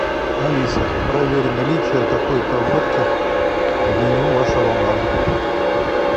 алиса проверь наличие такой то водки в меню вашего бара